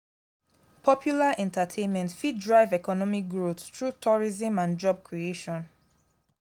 popular entertainment fit drive economic growth through tourism and job creation.